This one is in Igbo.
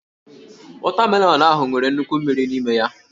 Wọtamelọnụ ahụ nwere nnukwu mmiri n'ime ya